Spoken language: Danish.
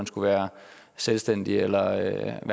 skal være selvstændige eller